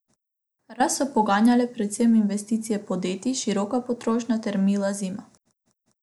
Rast so poganjale predvsem investicije podjetij, široka potrošnja ter mila zima.